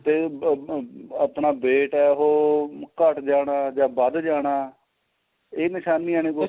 ਤਾ ਆ ਆਪਣਾ weight ਏ ਉਹ ਘੱਟ ਜਾਣਾ ਜਾਂ ਵੱਧ ਜਾਣਾ ਇਹ ਨਿਸ਼ਾਨੀਆ ਨੇ